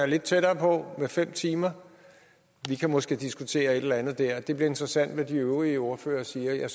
lidt tættere på med fem timer vi kan måske diskutere et eller andet der det bliver interessant hvad de øvrige ordførere siger